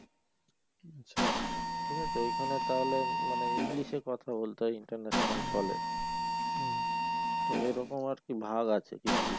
ঠিক আছে ওইখানে তাহলে মানে english এ কথা বলতে হয়ে international call এ তো এরকম আর কি ভাগ আছে কিছু কিছু